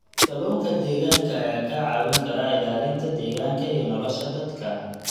Kalluunka deegaanka ayaa kaa caawin kara ilaalinta deegaanka iyo nolosha dadka.